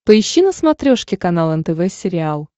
поищи на смотрешке канал нтв сериал